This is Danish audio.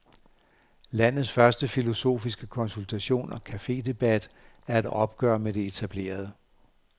Landets første filosofiske konsultation og cafedebat er et opgør med det etablerede.